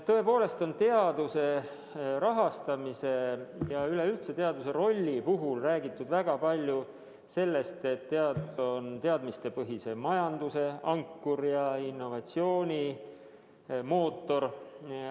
Tõepoolest on teaduse rahastamise ja üleüldse teaduse rolli puhul räägitud väga palju sellest, et teadus on teadmistepõhise majanduse ankur ja innovatsiooni mootor.